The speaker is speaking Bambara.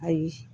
Ayi